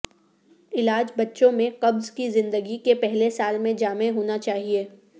علاج بچوں میں قبض کی زندگی کے پہلے سال میں جامع ہونا چاہئے